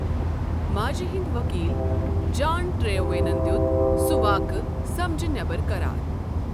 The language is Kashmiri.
ماجہِ ہٕنٛدۍ ؤکیٖل جان ٹریوینَن دِیُت سُہ واقعہٕ 'سمجھہٕ نٮ۪بر' قرار۔